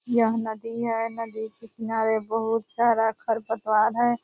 यह नदी है नदी के किनारे बहुत सारा खर पतवार है।